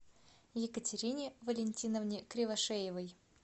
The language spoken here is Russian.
екатерине валентиновне кривошеевой